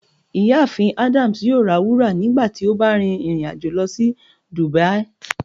Ìyáàfín Adams yóò rá wúra nígbàtí o bá rin irin-ajo lọ si dubia.